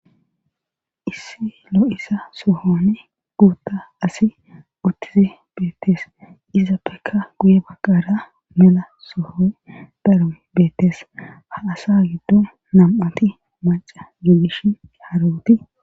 issi lo7isa sohoni guutta asi uttizi beettees izappekka guye bagqara mela soho darom beettees ha asa giddo nam7ati maca gigish harawoti